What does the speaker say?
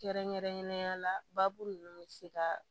Kɛrɛnkɛrɛnnenya la baabu nunnu be se ka